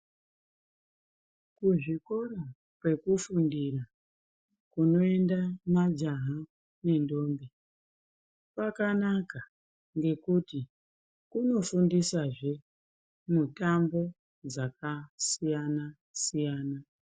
Kuzvikora kwekufundire kunoenda majaha nendombi kwakanaka ngekuti kunofundisazve mutambo dzakasiyana siyana.